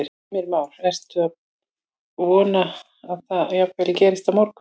Heimir Már: Ertu að vona að það geti jafnvel gerst á morgun?